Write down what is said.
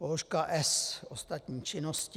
Položka S, ostatní činnosti.